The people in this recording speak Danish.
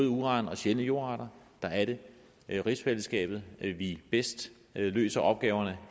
uran og sjældne jordarter er er det i rigsfællesskabet at vi bedst løser opgaverne